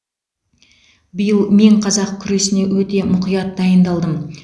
биыл мен қазақ күресіне өте мұқият дайындалдым